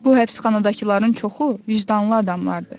Bu həbsxanadakıların çoxu vicdanlı adamlardır.